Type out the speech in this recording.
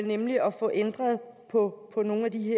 nemlig at få ændret på nogle af de